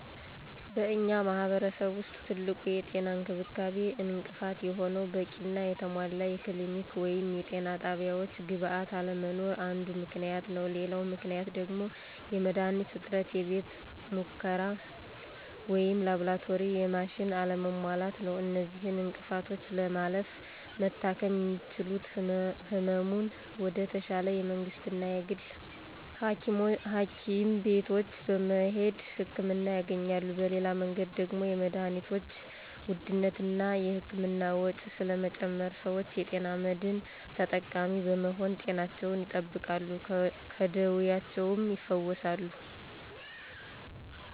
በእኛ ማህረሰብ ውስጥ ትልቁ የጤና እንክብካቤ እንቅፋት የሆነው በቂና የተሟላ የክሊኒኮች ወይም የጤና ጣቢያወች ግብዓት አለመኖር አንዱ ምክንያት ነው፤ ሌላው ምክንያት ደግሞ የመድሀኒት እጥረት፥ የቤተ ሙከራ ወይም ላብራቶሪና የማሽን አለመሟላት ነው። እነዚህን እንቅፍቶች ለማለፍ መታከም የሚችሉት ህሙማን ወደ ተሻለ የመንግስትና የግል ሀኪም ቤቶች በመሄድ ህክምና ያገኛሉ። በሌላ መንገድ ደግሞ የመድሀኒቶችን ውድነትና እና የህክምና ወጭ ስለጨመረ ሰወች የጤና መድን ተጠቃሚ በመሆን ጤናቸውን ይጠብቃሉ ከደወያቸውም ይፈወሳሉ።